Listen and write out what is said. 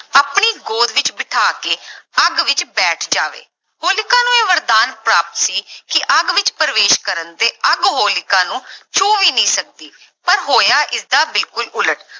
ਆਪਣੀ ਗੋਦ ਵਿੱਚ ਬਿਠਾ ਕੇ ਅੱਗ ਵਿੱਚ ਬੈਠ ਜਾਵੇ, ਹੋਲਿਕਾ ਨੂੰ ਇਹ ਵਰਦਾਨ ਪ੍ਰਾਪਤ ਸੀ ਕਿ ਅੱਗ ਵਿੱਚ ਪ੍ਰਵੇਸ਼ ਕਰਨ ਤੇ ਅੱਗ ਹੋਲਿਕਾ ਨੂੰ ਛੂਹ ਵੀ ਨਹੀਂ ਸਕਦੀ ਪਰ ਹੋਇਆ ਇਸਦਾ ਬਿਲਕੁਲ ਉਲਟ।